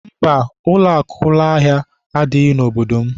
Mba, ụlọakụ ụlọahịa adịghị n'obodo m.